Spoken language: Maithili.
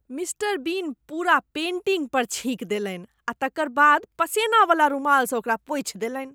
मिस्टर बीन पूरा पेंटिंगे पर छीकि देलनि आ तकर बाद पसेनावला रुमालसँ ओकरा पोछि देलनि।